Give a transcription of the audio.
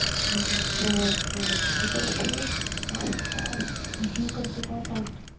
आणि gas cover किती जळतोय ह्यंव त्यांव हे करती तवा चालत